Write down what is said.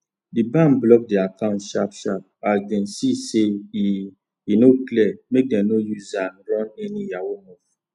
d bank block d account sharp sharp as dem see say e e no clear make dem no use aa run any yahoo move